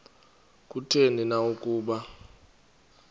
kutheni na ukuba